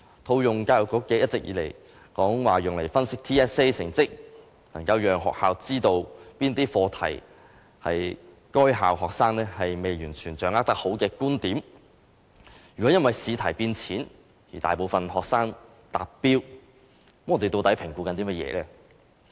教育局一直說，透過對 TSA 成績的分析，能夠讓學校知道哪些課題是該校學生未能完全掌握的，如果因為試題變淺，而令大部分學生達標，究竟我們在評估些甚麼呢？